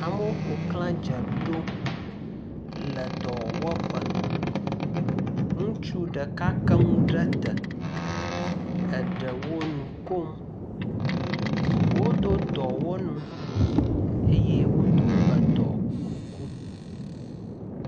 Amewo ƒoxla dze ɖom le dɔwɔƒe. Ŋutsu ɖeka ke nu ɖe te. Eɖewo nu kom. Wodo dɔwɔnu eye wodo edɔ kuku.